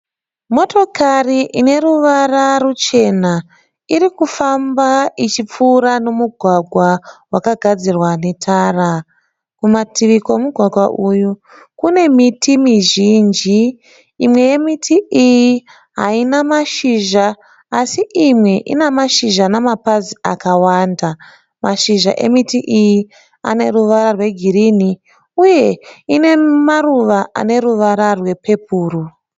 Motokari ine ruvara ruchena irikufamba ichipfura nomugwagwa wakagadzirwa netara. Kumativi kwomugwagwa uyu kune miti mizhinji, imwe yemiti iyi haina mashizha asi imwe ina mashizha namapazi akawanda. Mashizha emiti iyi ane ruwara rwegirini uye ine maruva ane ruvara rwe pepuru.